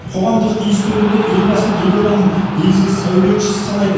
қоғамдық институт өкілдері елбасын елорданың негізгі сәулетшісі санайды